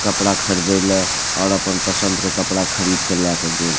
कपड़ा खरदेला और आपन पसंद के कपड़ा खरीद के लेय क गेल।